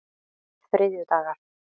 þriðjudagar